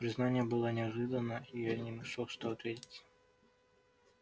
признание было неожиданно и я не нашёл что ответить